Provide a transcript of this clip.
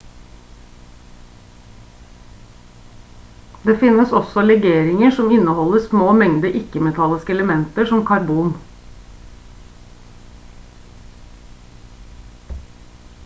det finnes også legeringer som inneholder små mengder ikke-metalliske elementer som karbon